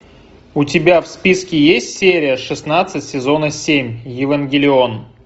у тебя в списке есть серия шестнадцать сезона семь евангелион